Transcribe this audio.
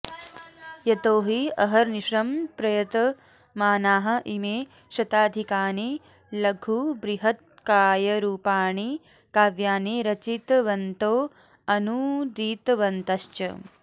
यतोहि अहर्निशं प्रयतमानाः इमे शताधिकानि लघुबृहत्कायरूपाणि काव्यानि रचितवन्तो अनूदितवन्तश्च